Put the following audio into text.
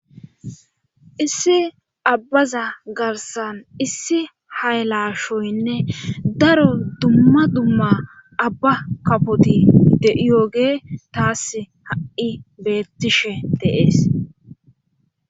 issi abbaza garsan issi hay lashoynne daro dumma dumma abba kafoti de7iyooge taas ha7i beettishe de'ees